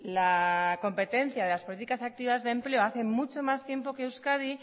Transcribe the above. la competencia de las políticas activas de empleo hace mucho más tiempo que euskadi